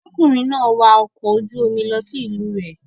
Ọkùnrin náà wa ọkọ̀ ojú-omi lọ sí ìlú rẹ̀.